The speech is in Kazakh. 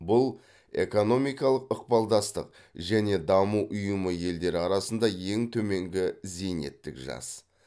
бұл экономикалық ықпалдастық және даму ұйымы елдері арасында ең төменгі зейнеттік жас